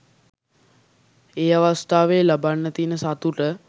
ඒ අවස්ථාවේ ලබන්න තියන සතුට